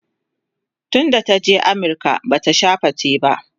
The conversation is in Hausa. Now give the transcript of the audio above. tun da ta je amurka Bata Sha fate ba